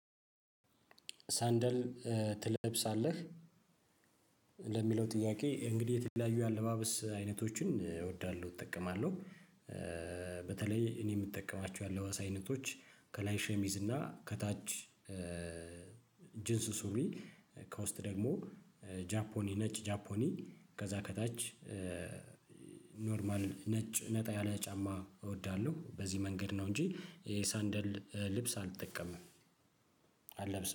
ሳንደል ትለብሳለህ? ለሚለው ጥያቄ እንግዲህ የተለያዩ የአለባበስ አይነቶችን እወዳለሁ እጠቀማለሁ። በተለይ እኔ የምጠቀማቸው የአለባበስ አይነቶች ከላይ ሸሚዝ እና ከታች ጅንስ ሱሪ። ከውስጥ ደግሞ ጃፖኒ ነጭ ጃፖኒ ከዛ ከታች ኖርማል ነጭ ነጣ ያለ ጫማ እወዳለሁ። በዚህ መንገድ ነው እንጂ የሳንደል ልብስ አልጠቀምም አልለብስም